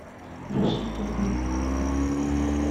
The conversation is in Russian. рашид токарев